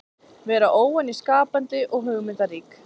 Vera óvenju skapandi og hugmyndarík.